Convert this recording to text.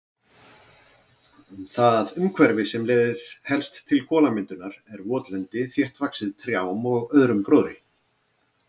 Það umhverfi sem helst leiðir til kolamyndunar er votlendi þéttvaxið trjám og öðrum gróðri.